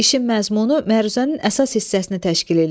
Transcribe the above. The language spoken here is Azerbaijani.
İşin məzmunu məruzənin əsas hissəsini təşkil eləyir.